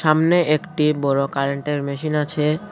সামনে একটি বড়ো কারেন্টের মেশিন আছে।